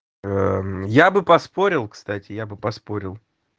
я бы поспорил кстати я бы поспорил